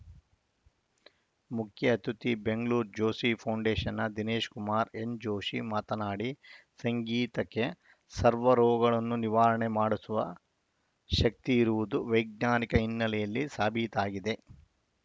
ಮುಖ್ಯ ಅತಿಥಿ ಬೆಂಗಳೂರು ಜೋಷಿ ಫೌಂಡೇಶನ್‌ನ ದಿನೇಶ್ ಕುಮಾರ್‌ ಎನ್‌ ಜೋಷಿ ಮಾತನಾಡಿ ಸಂಗೀತಕ್ಕೆ ಸರ್ವರೋಗಗಳನ್ನು ನಿವಾರಣೆ ಮಾಡಿಸುವ ಶಕ್ತಿ ಇರುವುದು ವೈಜ್ಞಾನಿಕ ಹಿನ್ನೆಲೆಯಲ್ಲಿ ಸಾಬೀತಾಗಿದೆ